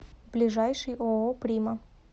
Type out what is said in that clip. ближайший ооо прима